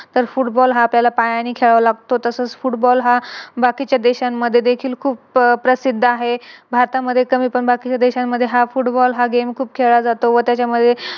तर Football हा आपल्याला पायाने खेळावा लागतो. तसच Football हा बाकीच्या देशांमध्ये देखील खूप प्रसिद्ध आहे, भारतामध्ये कमी पण बाकी देशांमध्ये हा Football हा Game खूप खेळल्या जातो व त्याच्यामध्ये